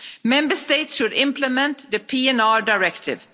Member States should implement the PNR Directive.